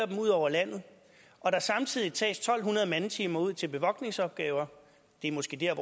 dem ud over landet og der samtidig tages to hundrede mandetimer ud til bevogtningsopgaver det er måske dér